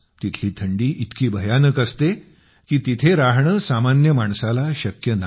तिथली थंडी इतकी भयानक असते की तिथे राहणं सामान्य माणसाला शक्य नाही